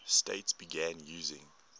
states began using